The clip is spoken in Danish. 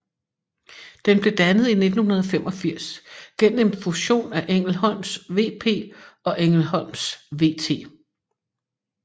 Den blev dannet i 1985 gennem en fusion af Engelholms VP og Engelholms VT